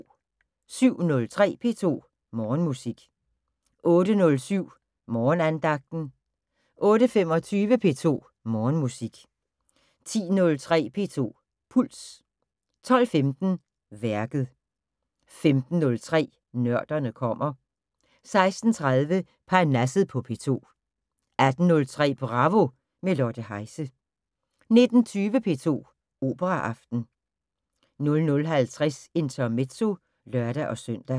07:03: P2 Morgenmusik 08:07: Morgenandagten 08:25: P2 Morgenmusik 10:03: P2 Puls 12:15: Værket 15:03: Nørderne kommer 16:30: Parnasset på P2 18:03: Bravo – med Lotte Heise 19:20: P2 Operaaften 00:50: Intermezzo (lør-søn)